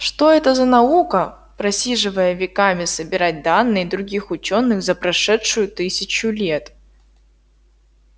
что это за наука просиживая веками собирать данные других учёных за прошедшую тысячу лет